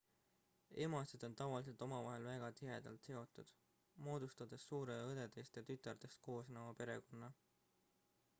emased on tavaliselt omavahel väga tihedalt seotud moodustades suure õdedest ja tütardest koosneva perekonna